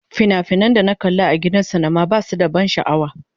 Fina-finan da na kalla a gidan sinima ba su da ban sha'awa.